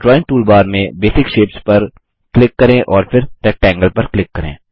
drawing toolbar में basic shapes पर क्किक करें और फिर रेक्टेंगल पर क्लिक करें